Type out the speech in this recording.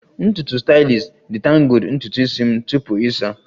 Ntutu stylist detangled ntutu isi m tupu ịsa